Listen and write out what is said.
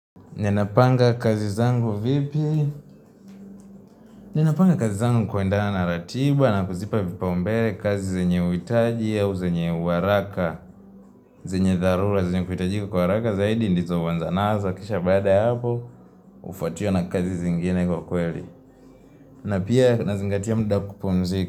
Ninapanga kazi zangu vipi? Ninapanga kazi zangu kwendana na ratiba na kuzipa vipa umbele kazi zenye uhitaji au zenye uharaka. Zenye dharura zenye kuhitaji kwa haraka zaidi ndizo huanza nazo kisha baada ya hapo Hufuatiwa na kazi zingine kwa kweli. Na pia nazingatia muda wa kupumzika.